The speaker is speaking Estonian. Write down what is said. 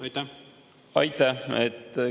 Aitäh!